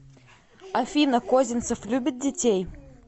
афина козинцев любит детей